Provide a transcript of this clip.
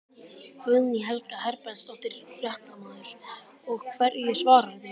Guðný Helga Herbertsdóttir, fréttamaður: Og hverju svararðu?